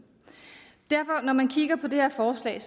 når man derfor kigger på det her forslag